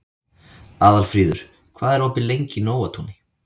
Aðalfríður, hvað er opið lengi í Nóatúni?